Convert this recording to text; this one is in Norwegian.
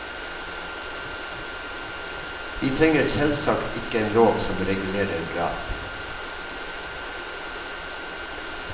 Vi trenger selvsagt ikke en lov som regulerer drap!